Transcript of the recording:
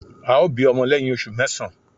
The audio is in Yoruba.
Ao bi omo leyin osu mesan